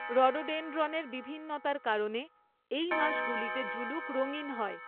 রডোডেনড্রনের বিভিন্নতার কারণে এই মাসগুলিতে জুলুক রঙিন হয়।